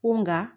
Ko nga